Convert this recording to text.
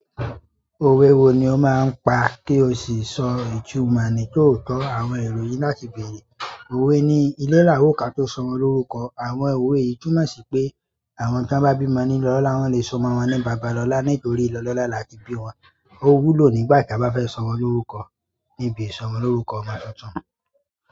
Òwe wo ni o máa ń pa kí o sì sọ ìtumò ni tóotọ́ àwọn ìròyìn láti bèrè? Òwe ni ìle laawo ka tó sọmọ lórúkọ. Àwọn òwe yi túmọ̀ ṣi pé àwọn tí wọ́n bá bímọ ní ile olọ́la, wọ́n lè so omọ́ wọn ní Bàbálọlá nítorí ile olọ́la là á tí bí wọn. Owulo nígbà ta ba fe somo loruko. Níbi ìsọmọlórúkọ ọmọ tuntun.